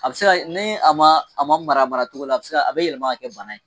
A bi se ka kɛ ni a ma mara a mara cogo la, a bi se ka, a bi yɛlɛma kɛ bana ye.